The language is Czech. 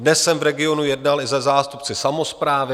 Dnes jsem v regionu jednal i se zástupci samosprávy.